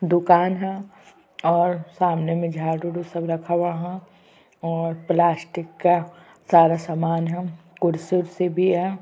दुकान है और सामने में झाड़ू उडू सब रखा हुआ है और प्लास्टिक का सारा सामान है कुर्सी उर्सी भी है।